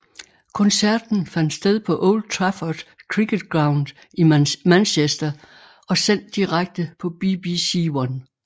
Koncerten fandt sted på Old Trafford Cricket Ground i Manchester og sendt direkte på BBC1